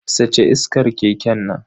Sace iskar keken nan.